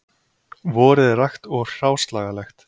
Vorið er rakt og hráslagalegt